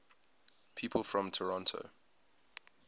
people from toronto